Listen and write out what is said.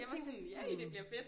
Jeg tænkte yeah det bliver fedt